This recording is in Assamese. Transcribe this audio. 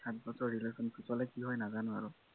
সাতবছৰ relation পিছলে কি হয় নাজানো আৰু